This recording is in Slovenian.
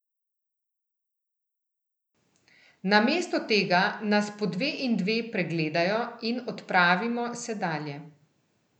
Namesto tega nas po dve in dve pregledajo, in odpravimo se dalje.